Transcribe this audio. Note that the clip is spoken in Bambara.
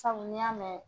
Sabu n'i y'a mɛn